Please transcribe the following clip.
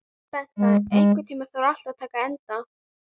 Bengta, einhvern tímann þarf allt að taka enda.